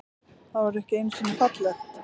Það var ekki einusinni fallegt.